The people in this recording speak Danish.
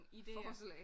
Idéer